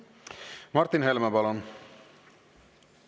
Martin Helme, palun!